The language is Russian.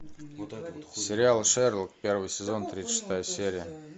сериал шерлок первый сезон тридцать шестая серия